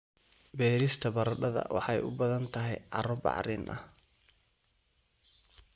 Beerista baradhada waxay u baahan tahay carro bacrin ah.